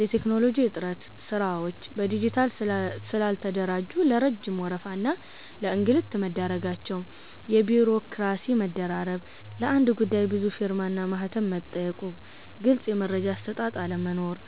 የቴክኖሎጂ እጥረት፦ ስራዎች በዲጂታል ስላልተደራጁ ለረጅም ወረፋ እና ለእንግልት መዳረጋቸው። የቢሮክራሲ መደራረብ፦ ለአንድ ጉዳይ ብዙ ፊርማና ማህተም መጠየቁና ግልጽ የመረጃ አሰጣጥ አለመኖር።